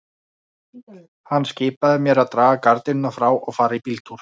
Hann skipaði mér að draga gardínurnar frá og fara í bíltúr.